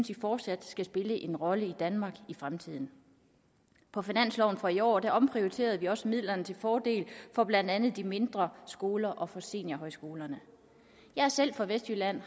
de fortsat skal spille en rolle i danmark i fremtiden på finansloven for i år omprioriterede vi også midlerne til fordel for blandt andet de mindre skoler og for seniorhøjskolerne jeg er selv fra vestjylland